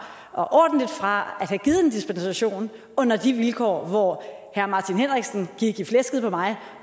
og ordentligt fra at have givet en dispensation under de vilkår hvor herre martin henriksen gik i flæsket på mig